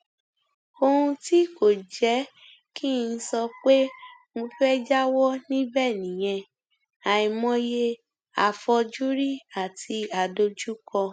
ohun tí kò jẹ kí n sọ pé mo fẹẹ jáwọ níbẹ nìyẹn àìmọye afọjúrì àti adójúkọ